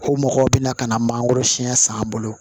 Ko mɔgɔw bɛna ka na mangoro siyɛn san bolo